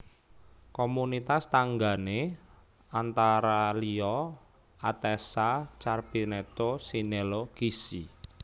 Komunitas tanggané antara liya Atessa Carpineto Sinello Gissi